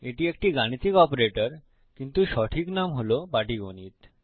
এটি একটি গাণিতিক অপারেটর কিন্তু সঠিক নাম হল পাটীগণিত